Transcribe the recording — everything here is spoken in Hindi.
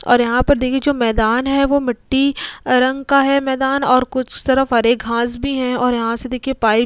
और यहां पर देखिए जो मैदान है वो मिट्टी रंग का है मैदान और कुछ तरफ हरे घास भी हैं और यहां से देखिए पाइप --